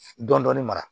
Dɔndɔni mara